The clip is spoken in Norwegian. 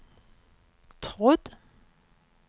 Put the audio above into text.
trodd